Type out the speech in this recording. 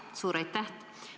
Jaa, suur aitäh!